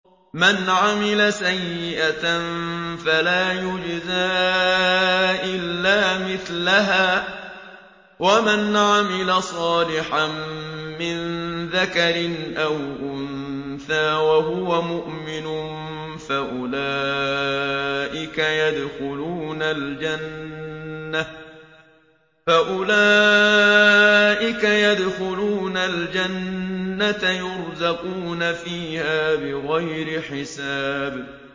مَنْ عَمِلَ سَيِّئَةً فَلَا يُجْزَىٰ إِلَّا مِثْلَهَا ۖ وَمَنْ عَمِلَ صَالِحًا مِّن ذَكَرٍ أَوْ أُنثَىٰ وَهُوَ مُؤْمِنٌ فَأُولَٰئِكَ يَدْخُلُونَ الْجَنَّةَ يُرْزَقُونَ فِيهَا بِغَيْرِ حِسَابٍ